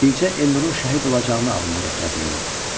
Bircə Elnurun şəhid olacağını ağlına gətirə bilmirdi.